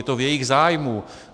Je to v jejich zájmu.